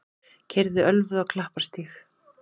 Keyrði ölvuð á Klapparstíg